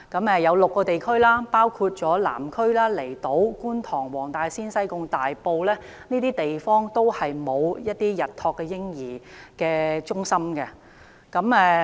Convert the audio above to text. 有6個地區，包括南區、離島、觀塘、黃大仙、西貢、大埔都沒有日託嬰兒中心。